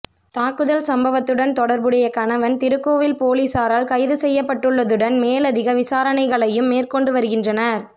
தாக்குதல் சம்பவத்துடன் தொடர்புடைய கணவன் திருக்கோவில் பொலிஸாரால் கைதுசெய்யப்பட்டுள்ளதுடன் மேலதிக விசாரணைகளையும் மேற்கொண்டு வருகின்றனர்